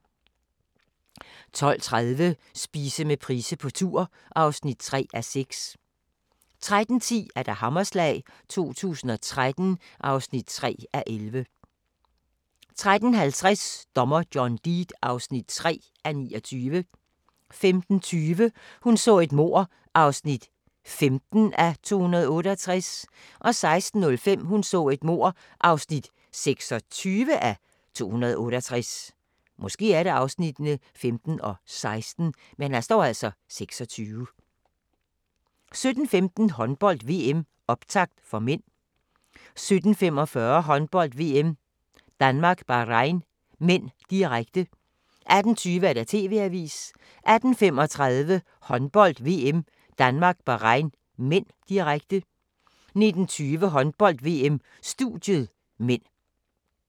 12:30: Spise med Price på tur (3:6) 13:10: Hammerslag 2013 (3:11) 13:50: Dommer John Deed (3:29) 15:20: Hun så et mord (15:268) 16:05: Hun så et mord (26:268) 17:15: Håndbold: VM - optakt (m) 17:45: Håndbold: VM - Danmark-Bahrain (m), direkte 18:20: TV-avisen 18:35: Håndbold: VM - Danmark-Bahrain (m), direkte 19:20: Håndbold: VM - studiet (m)